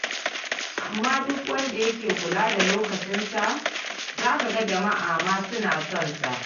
Amma duk wanda yake kula da lokacinsa, za ka ga jama'a ma suna son sa.